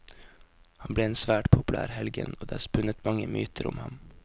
Han ble en svært populær helgen og det er spunnet mange myter om ham.